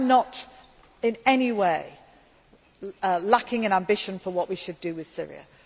I am not in any way lacking in ambition for what we should do with Syria.